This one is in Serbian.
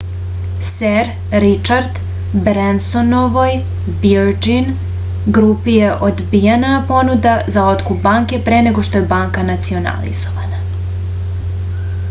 ser ričard brensonovoj virgin grupi je odbijena ponuda za otkup banke pre nego što je banka nacionalizovana